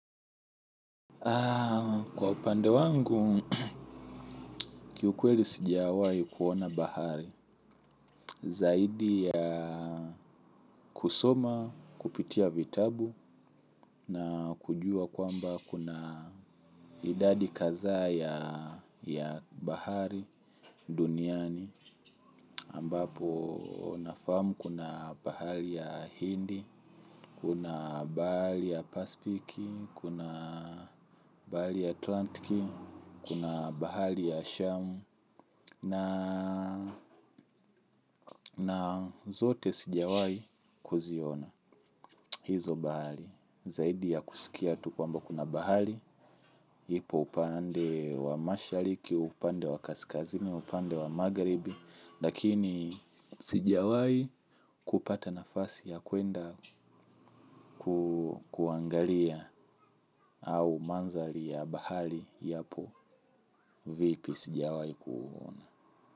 Kwa upande wangu, kiukweli sijawahi kuona bahari. Zaidi ya kusoma, kupitia vitabu na kujua kwamba kuna idadi kadhaa ya bahari duniani ambapo nafahamu kuna bahari ya Hindi, kuna bahari ya Pacifici, kuna bahari ya Atlantici, kuna bahari ya Shamu na na zote sijawahi kuziona hizo bahari zaidi ya kusikia tu kwamba kuna bahari. Ipo upande wa mashariki, upande wa kaskazini, upande wa magharibi lakini sijawahi kupata nafasi ya kuenda kuangalia. Au mandhari ya bahari yapo vipi sijawahi kuuona.